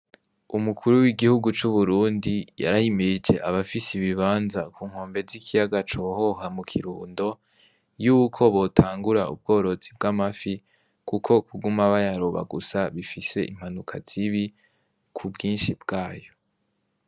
Umukuru w'igihugu c'uburundi yarahimirije abafise ibibanza ku nkombe z'ikiyaga cohoha mu kirundo yuko botangura ubworozi bw'amafi, kuko kuguma bayaroba gusa bifise impanuka zibi ku bwinshi bwayo.